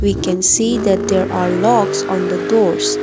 we can see that there are locks on the doors.